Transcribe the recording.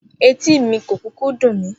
Etí mi kò kúkú dùn mí